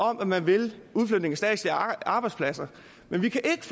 om at man vil udflytning af statslige arbejdspladser men vi kan ikke